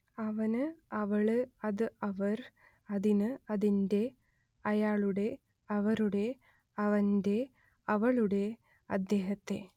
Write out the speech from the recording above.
അവന് അവള് അത് അവർ അതിന് അതിന്റെ അയാളുടെ അവരുടെ അവന്റെ അവളുടെ അദ്ദേഹത്തെ